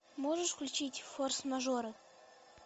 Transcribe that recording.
можешь включить форс мажоры